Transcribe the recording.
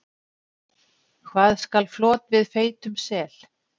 Hvað skal flot við feitum sel?